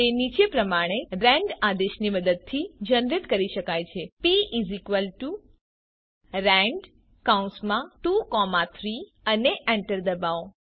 તે નીચે પ્રમાણે રેન્ડ આદેશની મદદથી જનરેટ કરી શકાય છે prand23 અને એન્ટર ડબાઓ